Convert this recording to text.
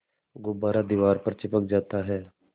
गुब्बारा दीवार पर चिपक जाता है